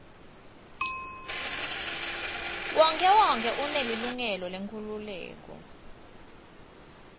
wonkhewonkhe unelilungelo lenkhululeko